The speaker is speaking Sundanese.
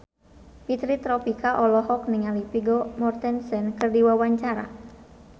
Fitri Tropika olohok ningali Vigo Mortensen keur diwawancara